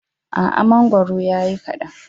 A'a, mangoro ya yi kaɗan.